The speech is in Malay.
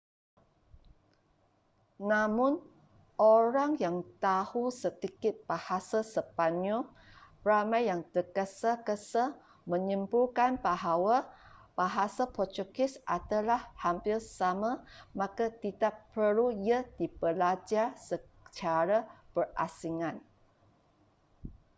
namun orang yang tahu sedikit bahasa sepanyol ramai yang terges-gesa menyimpulkan bahwa bahasa portugis adalah hampir sama maka tidak perlu ia dibelajar secara berasingan